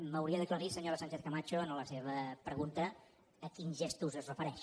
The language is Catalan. m’hauria d’aclarir senyora sánchez camacho en la seva pregunta a quins gestos es refereix